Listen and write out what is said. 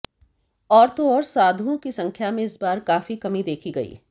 और तो और साधुओं की संख्या में इस बार काफी कमी देखी गई